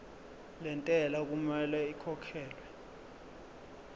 lentela okumele ikhokhekhelwe